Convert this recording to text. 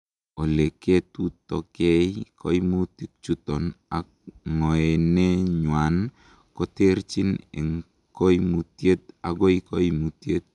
Oleketutokei koimutichuton ak ng'oenenywan ko terchin en koimutiet akoi koimutiet.